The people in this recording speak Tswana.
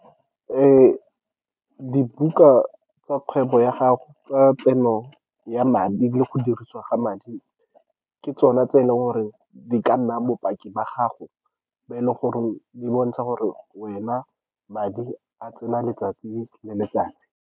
Dibuka tsa kgwebo ya gago tsa tseno ya madi le go dirisiwa ga madi ke tsone tse e leng gore di ka nna bopaki ba gago, bo e leng gore di bontsha gore wena madi a tsena letsatsi le letsatsi.